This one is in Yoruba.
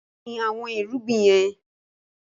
Gbìn àwọn irúgbìn yẹn!